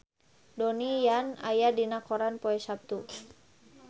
Donnie Yan aya dina koran poe Saptu